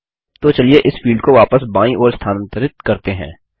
तो चलिए इस फील्ड को वापस बायीं ओर स्थानांतरित करते हैं